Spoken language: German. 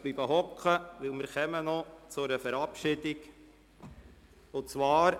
Sie dürfen sitzen bleiben, weil wir noch eine Verabschiedung vor uns haben.